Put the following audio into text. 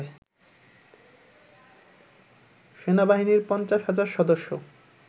সেনাবাহিনীর ৫০ হাজার সদস্য